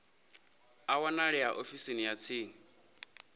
a wanalea ofisini ya tsini